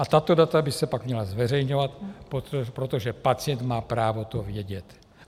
A tato data by se pak měla zveřejňovat, protože pacient má právo to vědět.